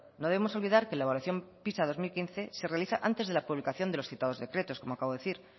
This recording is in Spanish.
no debemos olvidar que la evaluación pisa dos mil quince se realiza antes de la publicación de los citados decretos como acabo de decir